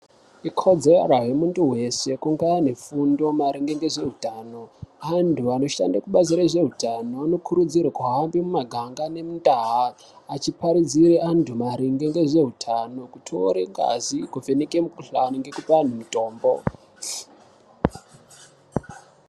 Ikodzero yemuntu weshe kunge anefundo maringe ngezveutano. Antu anoshande kubazi rezveutano anokurudzirwe kuhamba mumaganga nemundau achiparidzire antu maringe ngezveutano, kutore ngazi kuvheneke mukhuhlane ngekupa antu mitombo.